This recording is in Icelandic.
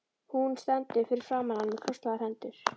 Hún stendur fyrir framan hann með krosslagðar hendur.